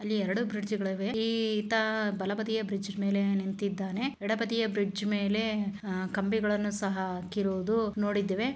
ಅಲ್ಲಿ ಎರಡು ಬ್ರಿಡ್ಜ್ಗಳಿವೆ ಈ-ತಾ ಬಲಬದಿಯ ಬ್ರಿಜ್ ಮೇಲೆ ನಿಂತಿದ್ದಾನೆ ಎಡಬದಿಯ ಬ್ರಿಡ್ಜ್ ಮೇಲೆ ಆಹ್ ಕಂಬಿಗಳನ್ನು ಸಹ ಹಾಕಿರುವುದು ನೋಡಿದ್ದೇವೆ.